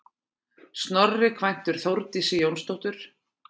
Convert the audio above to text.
Snorri kvæntur Þórdísi Jónsdóttur.